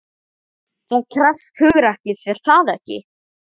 Það krefst hugrekkis, er það ekki?